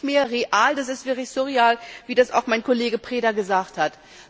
Das ist nicht mehr real, das ist wirklich surreal, wie das auch mein Kollege Preda gesagt hat.